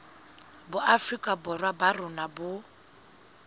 boafrika borwa ba rona bo